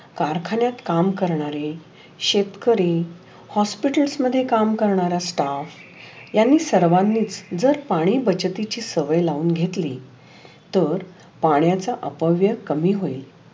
कारखान्यात काम करनारे शेतकरी हॉस्पिटल मधे काम करनारे स्टाफ यांनी सर्वांनी जर पाणी बचतीची सवय लाऊन घेतली. तर पाण्याचा अपव्य कमी होतो.